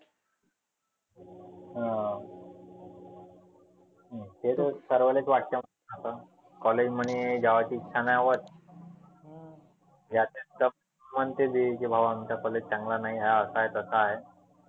अह ते तर सर्वालेच वाटतं आता college म्हणी जावाची इच्छा नाही होत. त्याचे म्हणते ती भावा आमचा college चांगला नाही हे असा आहे तसा आहे.